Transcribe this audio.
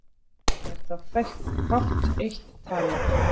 Er þá fátt eitt talið.